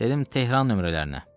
Dedim Tehran nömrələrinə.